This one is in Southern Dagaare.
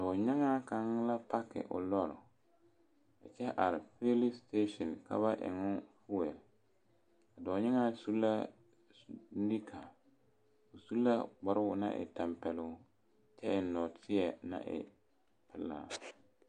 Dɔɔnyaaŋaa kaŋa la paaki o lɔr, a kyɛ are patrol sitation ka ba eŋe o patrol a dɔɔnyaaŋaa seɛ la nika a su kparoo naŋ e tampɛloŋ kyɛ eŋɛ nɔɔteɛ naŋ e pelaa